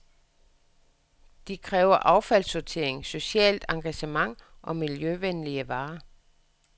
De kræver affaldssortering, socialt engagement, miljøvenlige varer.